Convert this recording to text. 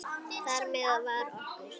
Þar með var okkur